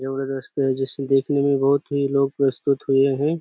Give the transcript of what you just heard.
दोस्तों जिसे देखने के लिए बहुत ही लोग प्रस्तुत हुए है।